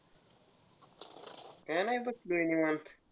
काय नाही निवांत.